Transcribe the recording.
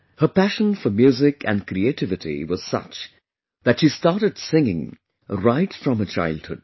Her passion for music and creativity was such that she started singing right from her childhood